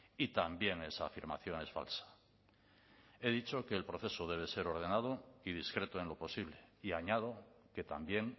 y también esa afirmación es falsa he dicho que el proceso debe ser ordenado y discreto en lo posible y añado que también